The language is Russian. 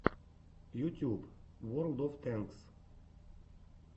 ютюб уорлд оф тэнкс